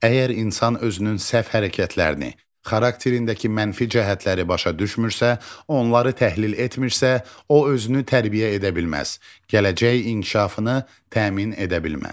Əgər insan özünün səhv hərəkətlərini, xarakterindəki mənfi cəhətləri başa düşmürsə, onları təhlil etmirsə, o özünü tərbiyə edə bilməz, gələcək inkişafını təmin edə bilməz.